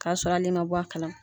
K'a sɔrɔ ali ma bɔ a kalaman.